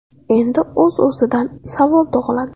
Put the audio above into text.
Endi o‘z-o‘zidan savol tug‘iladi.